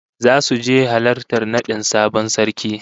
Zasu je halartar nadin sabon sarki